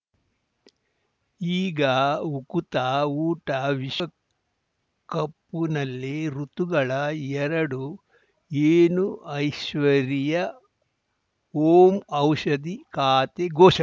ಈಗ ಉಕುತ ಊಟ ವಿಶ್ವಕಪ್ಪುನಲ್ಲಿ ಋತುಗಳ ಎರಡು ಏನು ಐಶ್ವರ್ಯಾ ಓಂ ಔಷಧಿ ಖಾತೆ ಘೋಷಣೆ